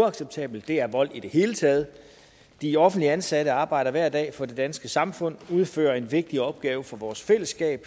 uacceptabelt det er vold i det hele taget de offentligt ansatte arbejder hver dag for det danske samfund udfører en vigtig opgave for vores fællesskab